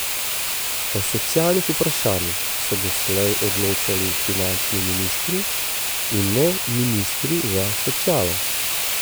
O socialnih vprašanjih so doslej odločali finančni ministri, in ne ministri za socialo.